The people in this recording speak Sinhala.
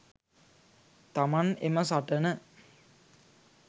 තමන් එම සටන